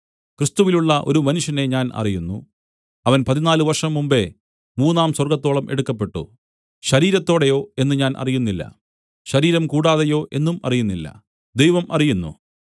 ക്രിസ്തുവിലുള്ള ഒരു മനുഷ്യനെ ഞാൻ അറിയുന്നു അവൻ പതിനാല് വർഷം മുമ്പെ മൂന്നാം സ്വർഗ്ഗത്തോളം എടുക്കപ്പെട്ടു ശരീരത്തോടെയോ എന്ന് ഞാൻ അറിയുന്നില്ല ശരീരം കൂടാതെയോ എന്നുമറിയുന്നില്ല ദൈവം അറിയുന്നു